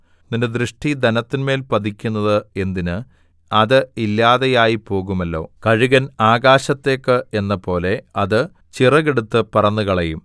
നിന്റെ ദൃഷ്ടി ധനത്തിന്മേൽ പതിക്കുന്നത് എന്തിന് അത് ഇല്ലാതെയായിപ്പോകുമല്ലോ കഴുകൻ ആകാശത്തേക്ക് എന്നപോലെ അത് ചിറകെടുത്ത് പറന്നുകളയും